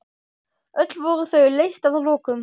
Öll voru þau leyst að lokum.